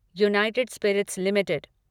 United Spirits limited